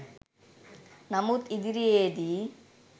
නමුත් ඉදිරියේදී